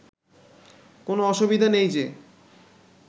কোনো অসুবিধে নেই যে